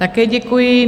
Také děkuji.